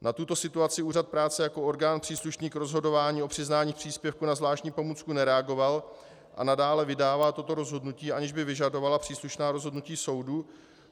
Na tuto situaci úřad práce jako orgán příslušný k rozhodování o přiznání příspěvku na zvláštní pomůcku nereagoval a nadále vydává toto rozhodnutí, aniž by vyžadoval příslušná rozhodnutí soudů.